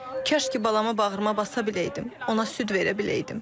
Kaş ki, balamı bağrıma basa biləydim, ona süd verə biləydim.